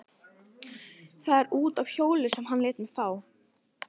Það er út af hjóli sem hann lét mig fá.